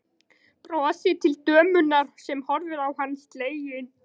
Brosir til dömunnar sem horfir á hann slegin.